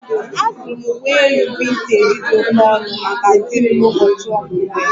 Azụrụ m uwe elu vintej dị oke ọnụ maka di m n'ụbọchị ọmụmụ ya